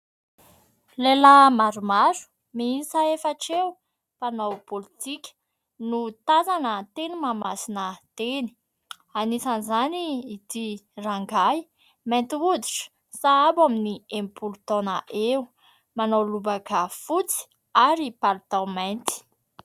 Lehilahy maromaro, miisa efatra eo, mpanao politika, no tazana teny Mahamasina teny. Anisan'izany ity rangahy mainty hoditra, sahabo eo amin'ny enimpolo taona eo, manao lobaka fotsy ary palitao mainty.